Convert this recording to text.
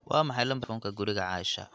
waa maxay lambarka taleefanka guriga asha